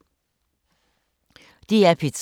DR P3